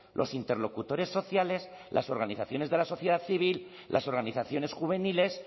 los interlocutores sociales las organizaciones de la sociedad civil las organizaciones juveniles